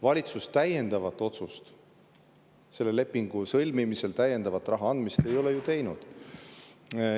Valitsus täiendavat otsust selle lepingu sõlmimise, täiendava raha andmise kohta ei ole ju teinud.